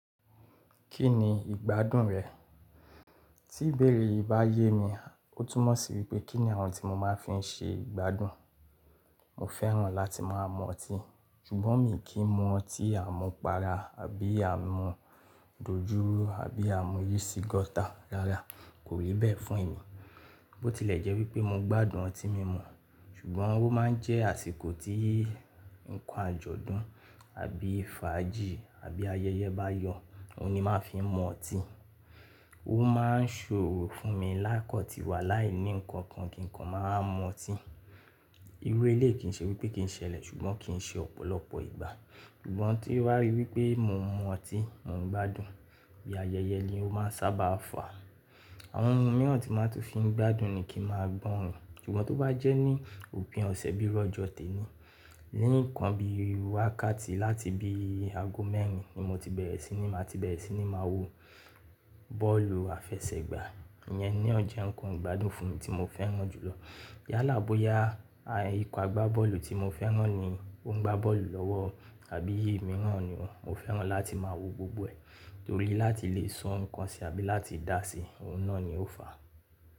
Kí ni ìgbádùn rẹ̀? Tí bèrè yìí bá yé mi, ó túnmọ̀ sí wípé kí ni àwọn tí mo máa ń fi ń ṣe ìgbádùn. Mo fẹ́ràn láti máa mu ọtí, ṣùgbọ́n mí kí mu ọtí àmupara àbí àmu dojúró àbí àmu yeast gáta lára, kò rí bẹ́ẹ̀ fún èèyí. Bó tilẹ̀ jẹ́ wípé mo gbádùn ọtí mímu, ṣùgbọ́n ó máa ń jẹ́ àsìkò tí nǹkan àjọ̀dún àbí fàájì àbí ayẹyẹ bá yọ, òun ni màá fi ń mu ọtí. Ó máa ń ṣòro fún mi lákọ̀tì wà láìní nǹkan kan kí nǹkan máa máa mu ọtí. Irú élé yìí kì ń ṣe wípé kì ń ṣẹlẹ̀ ṣùgbọ́n kì ń ṣe ọ̀pọ̀lọpọ̀ ìgbà. Ṣùgbọ́n tí ó wá rí wípé mo ń mu ọtí, mò ń gbádùn, bí ayẹyẹ ni ó máa ń sábà fà. Àwọn ohun mìíràn tí màá tó fi ń gbádùn ni kí màá gbóòrin. Ṣùgbọ́n tó bá jẹ́ ní òpin ọ̀sẹ̀ bí i ọjọ́ toní, léèkan bí i wákàtí láti bí i ago mẹ́rin ni mo ti bẹ̀rẹ̀ síi ni màá ti bẹ̀rẹ̀ síi ni màá wo bọ́ọ̀lù àfẹsẹ̀gbá, ìyẹn ni ó jẹ́ nǹkan ìgbádùn fún mi tí mo fẹ́ràn jùlọ. Yálà boya ìpàgbá bọ́ọ̀lù tí mo fẹ́ràn ni ó ń gbá bọ́ọ̀lù lọ́wọ́ àbí èyí mìíràn ni wọ́n, mo fẹ́ràn láti máa wo gbogbo ẹ̀. Torí láti lè san ǹkan ṣe àbí láti dá sí i, òun náà ni ó fàá.